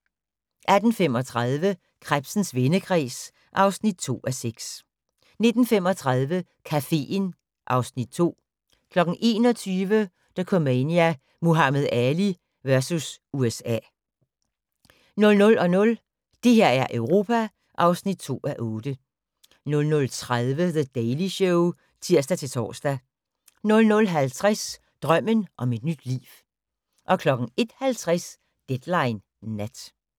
18:35: Krebsens vendekreds (2:6) 19:35: Caféen (Afs. 2) 21:00: Dokumania: Muhammad Ali vs. USA 00:00: Det her er Europa (2:8) 00:30: The Daily Show (tir-tor) 00:50: Drømmen om et nyt liv 01:50: Deadline Nat